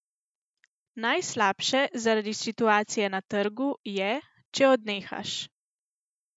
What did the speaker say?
Najslabše zaradi situacije na trgu, je, če odnehaš.